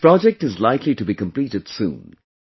This project is likely to be completed soon